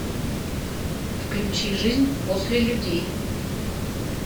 включи жизнь после людей